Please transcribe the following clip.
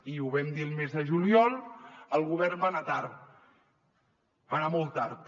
i ho vam dir el mes de juliol el govern va anar tard va anar molt tard